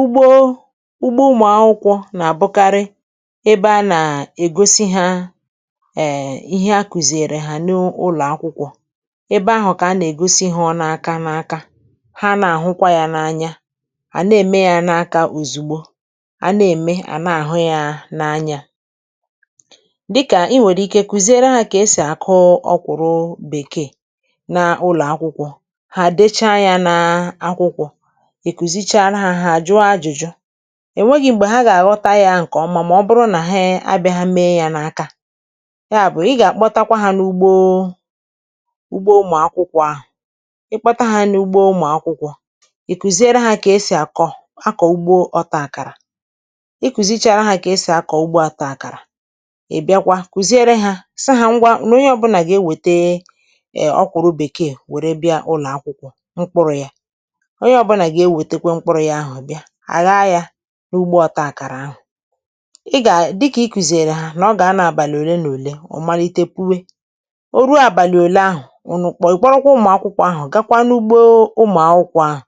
Ugbo ugbo ụmụ̀akwụkwọ̇ nà-àbụkarị ebe a nà-ègosi hȧ um ihe a kùzìèrè hà n’ụlọ̀ akwụkwọ̇ ebe ahụ̀ kà a nà-ègosi hȧ aka n’aka ha nà-àhụkwa yȧ n’anya, à na-ème yȧ n’aka òzùgbo à na-ème à na-àhụ yȧ n’anya, dịkà i nwèrè ike kụziere hȧ kà esì àkụ ọkwụrụ bèkeè n’ụlọ̀ akwụkwọ̇, ha decha ya na akwụkwọ ìkùzi chȧra hȧ há àjụo ajụjụ, ènweghi̇ mgbè ha gà-àghọta yȧ ǹkè ọma mà ọ bụrụ nà ha abịa ha mee yȧ n’aka, ya bụ̀ i gà-àkpọtakwa hȧ n’ugbo ugbo ụmụ̀akwụkwọ ahụ̀ ịkpọta hȧ n’ugbo ụmụ̀akwụkwọ ìkùziere hȧ kà esì àkọ a kọ̀ ugbo ọtȧ àkàrà, ikùzịchì àra hȧ kà esì a kọ̀ ugbo ọtȧ àkàrà ìbịakwa kùziere hȧ sị hȧ ngwa nà onye ọ̇bụ̇nà gà-ewète e ọkwụ̀ru bèkeè wère bịa ụlọ̀ akwụkwọ mkpụrụ̇ ya, onye obula ga ewetakwa mkpụrụ ya ahụ bia, àghá yȧ n’ugbȯ ọta àkàrà ahụ̀, ị gà dịkà ikùzèrè hȧ nà ọ gà-ano àbàlị̀ òle nà òle ọ̀ malite puwe, o ruo àbàlị̀ òle ahụ̀ ụnụ ikporo kwa ụmụ̀akwụkwọ ahụ̀ gakwa n’ugbȯ ụmụ̀akwụkwọ ahụ̀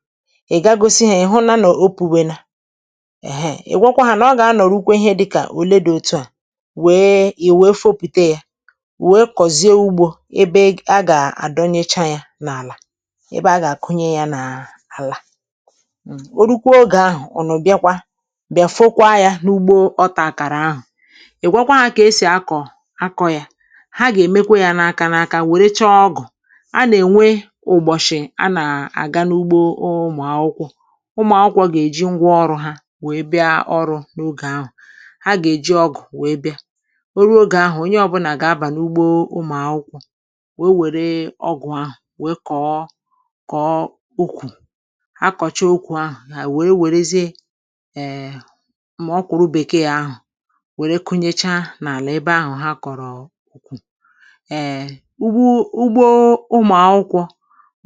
ị̀ gaghị̇ gosi hȧ ị̀ hụ na nọ̀ opi̇wena ehee ị̀ gwakwa hȧ nà ọ gà-a nọ̀rụ kwe ihe dịkà òle dị̇ òtu à wèe ị̀ wèe fopùte yȧ wèe kọ̀zie ugbȯ ebe a gà-àdọ n’icha yȧ n’àlà ebe a gà-àkụnye ya n’àlà um urukwa ogè ahụ̀ ụnụ biakwa bịa fokwa yȧ n’ugbo ọtà kàrà ahụ̀ ị̀ gwakwa ahụ̀ kà esì akọ̀ akọ yȧ ha gà-èmekwa yȧ n’aka n’aka wèrè chọ ọgụ̀ a nà-ènwe ụ̀bọ̀shị̀ a nà-àga n’ugbo ụmụ̀akwụkwọ ụmụ̀akwụkwọ gà-èji ngwa ọrụ̇ ha wèe bịa ọrụ̇ n’ogè ahụ̀ ha gà-èji ọgụ̀ wèe bịa o ruo ogè ahụ̀ onye ọbụlà gà-abà n’ugbȯ ụmụ̀akwụkwọ wee wère ọgụ̀ ahụ̀ wee kọ̀ọ kọ̀ọ ukwu, akocha ukwu ahụ̀ hà wère wèrezie um mà ọ kwụ̀rụ bèkee ahụ̀ wère kụnyecha n’àlà ebe ahụ̀ ha kọ̀rọ̀ ukwu um ugbȯ ụgbọ ụmụ̀akwụkwọ̇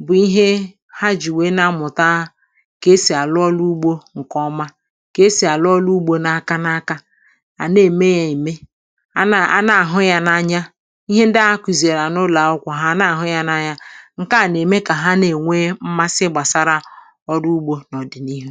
bụ̀ ihe ha jì wèe na-amụ̀ta kà esì àlụ ọrụ ugbȯ ǹkè ọma kà esì àlụ ọrụ ugbȯ n’aka n’aka ànà ème yȧ ème a nà à nà àhụ yȧ n’anya ihe ndị a kùzìrì ànà ụlọ̀ akwụkwọ̀ hà ànà àhụ yȧ n’anya ǹkeà na eme ka ha na enwe mmasị gbasara ọrụ ụgbọ n’ọdịnihu.